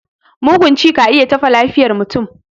Mugun ci ka iya taɓa lafiyar mutum.